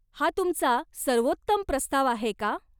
हा तुमचा सर्वोत्तम प्रस्ताव आहे का?